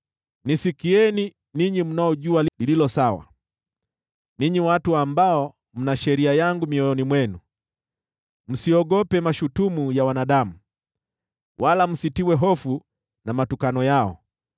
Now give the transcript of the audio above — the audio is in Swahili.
“Nisikieni, ninyi mnaojua lililo sawa, ninyi watu ambao mna sheria yangu mioyoni mwenu: Msiogope mashutumu ya wanadamu wala msitiwe hofu na matukano yao.